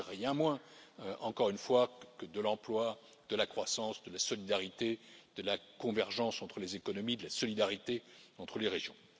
Il ne s'agit de rien de moins, encore une fois, que de l'emploi, de la croissance, de la solidarité, de la convergence entre les économies, de la solidarité entre les régions.